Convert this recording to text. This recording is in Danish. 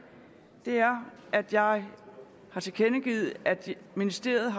er at jeg har tilkendegivet at ministeriet